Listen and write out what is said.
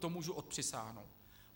To můžu odpřisáhnout.